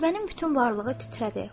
Qətibənin bütün varlığı titrədi.